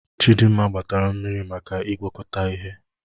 Chidinma gbatara mmiri maka ịgwakọta ihe.